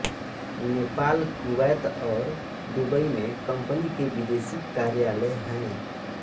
Nepal Kuwait और Dubai में company के विदेशी कार्यालय हैं